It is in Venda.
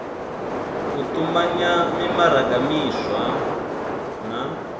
u tumanya mimaraga miswa na